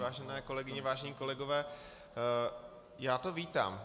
Vážené kolegyně, vážení kolegové, já to vítám.